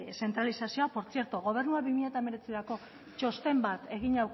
zentralizazioa por zierto gobernua bi mila hemeretzirako txosten bat egina